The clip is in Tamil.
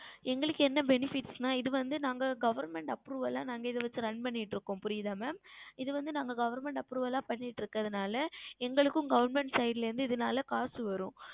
எங்களுக்கு என்ன benefits என்றால் இது வந்து Government Approval நாங்கள் வந்து Run செய்து கொண்டுளோம் புரிகிறதா Mam இது வந்து நாங்கள் Government Approval ல செய்து கொண்டுள்ளதால் எங்களுக்கும் Government Side ல இருந்து இதுனால் காசு வரும்